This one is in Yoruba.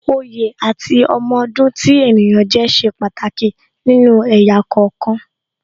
Oyè àti ọmọ ọdún tí ènìyàn jẹ́ ṣe pàtàkì nínú ẹ̀yà kọ̀ọ̀kan